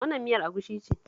Wannan miyar agushi ce